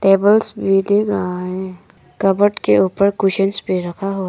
tables भी दिख रहा है कबर्ड के ऊपर कुशन्स भी रखा हुआ --